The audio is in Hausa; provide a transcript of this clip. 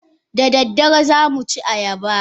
Da daddare za mu ci ayaba?